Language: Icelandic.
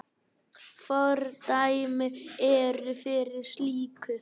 Fordæmi eru fyrir slíku.